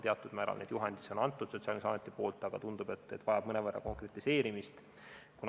Teatud määral neid juhendeid on Sotsiaalkindlustusamet andnud, aga tundub, et see vajab mõnevõrra konkretiseerimist.